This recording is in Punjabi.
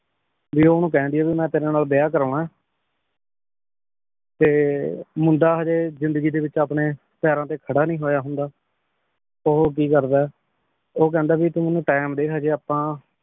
ਭੀ ਓਨੁ ਕਹਿੰਦੀ ਆ ਭੀ ਮੈਂ ਤੇਰੀ ਨਾਲ ਵਿਯਾਹ ਕਰਵਾਨਾ ਆਯ ਤੇ ਮੁੰਡਾ ਹਾਜੀ ਜ਼ਿੰਦਗੀ ਵਿਚ ਅਪਨੇ ਪੈਰਾਂ ਤੇ ਖੜਾ ਨਈ ਹੋਯਾ ਹੁੰਦਾ ਓਹੋ ਕੀ ਕਰਦਾ ਆਯ ਊ ਕਹੰਦਾ ਤੂ ਮੇਨੂ time ਦੇ ਹਾਜੀ ਆਪਾਂ